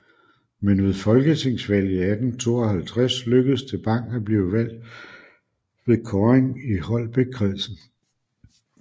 Men ved folketingsvalget i 1852 lykkedes det Bang at blive valgt ved kåring i Holbækkredsen